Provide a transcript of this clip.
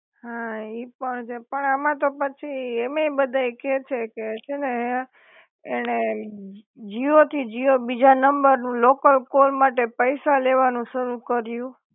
હા ઈ પણ છે, પણ આમાં તો પછી એમેય બધા કે છે કે છે ને હે એણે જીઓ થી જીઓ બીજા નંબર લોકલ કોલ માટે પૈસા લેવાનું શરૂ કર્યું